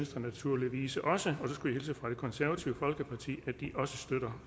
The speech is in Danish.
naturligvis også og så skulle jeg hilse fra det konservative folkeparti og de også støtter